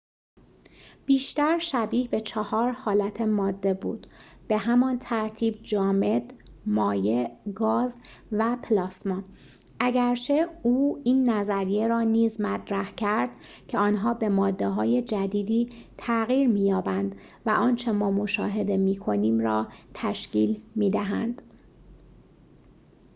بیشتر شبیه به چهار حالت ماده بود به همان ترتیب: جامد،‌ مایع، گاز و پلاسما، اگرچه او این نظریه را نیز مطرح کرد که آنها به ماده‌های جدیدی تغییر می‌یابند و آنچه ما مشاهده می‌کنیم را تشکیل می‌دهند